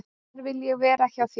"""Þar vil ég vera, hjá þér."""